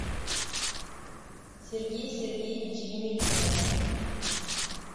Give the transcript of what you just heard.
сергей сергеевич емельянов